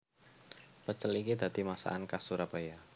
Pecel iki dadi masakan khas Surabaya